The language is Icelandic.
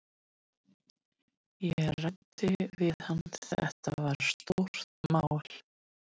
Ég ræddi við hann, þetta var stórt mál.